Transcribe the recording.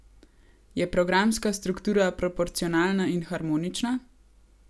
Je programska struktura proporcionalna in harmonična?